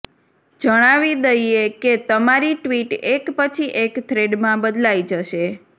જણાવી દઈએ કે તમારી ટ્વીટ એક પછી એક થ્રેડમાં બદલાઈ જશે